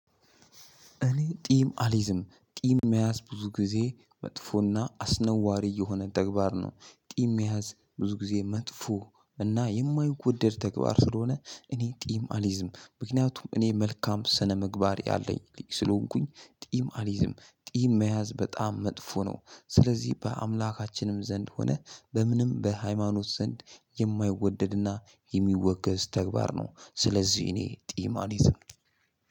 እኔ ቂም አሊዝም ቂም መያዝ ብዙ ጊዜ መጥፎና አስነዋሪ የሆነ ተግባር ነው ጢም መያዝ ብዙ ጊዜ መጥፎ እና የማወደድ ተግባር ስለሆነ እኔ ቂም አልይዝም ምክንያቱም እኔ መልካም ስነምግባር ያለኝ ስለሆንኩኝ ቂም አሊዝም። ቂም መያዝ በጣም መጥፎ ነው። ስለዚህ በአምላካችንም ዘንድ ሆነህ በምንም በሃይማኖት ዘንድ የማይወደድና የሚወገዝ ተግባር ነው። ስለዚህ እኔ ቂም አሊዝም።